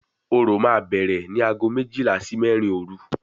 Orò máa bẹ̀rẹ̀ ní aago méjìlá sí mẹ́rin òru